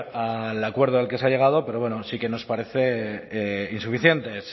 al acuerdo al que se ha llegado pero sí que nos parecen insuficientes